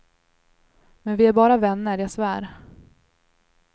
Men vi är bara vänner jag svär.